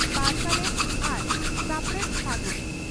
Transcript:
ᱯᱟᱨᱥᱟᱞᱮᱛ ᱟᱨ ᱥᱟᱯᱲᱮᱛ, ᱯᱷᱟᱹᱜᱩᱱ ᱾